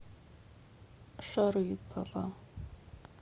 шарыпово